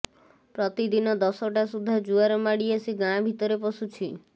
ପ୍ରତି ଦିନ ଦଶଟା ସୁଦ୍ଧା ଜୁଆର ମାଡ଼ି ଆସି ଗାଁ ଭିତରେ ପଶୁଛି